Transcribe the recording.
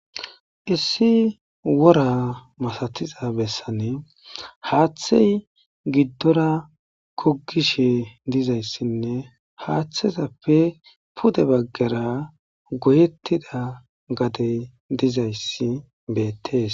Issi worra masatiza bessan haththey giddora goggishe dizayssine puude baggera goyettida gaddey dizaysii bettes.